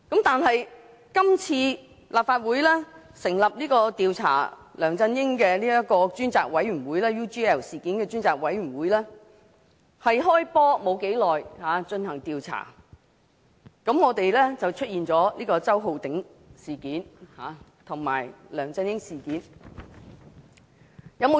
但是，今次立法會成立的"調查梁振英先生與澳洲企業 UGL Limited 所訂協議的事宜專責委員會"剛開始進行調查，便出現了周浩鼎議員事件和梁振英事件。